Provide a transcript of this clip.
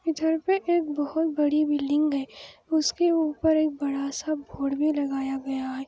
इधर पे एक बहुत बड़ी बिल्डिंग है उसके उप्पर बड़ा सा बोर्ड भी लगाया गया है |